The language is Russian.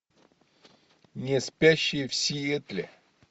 неспящие в сиэтле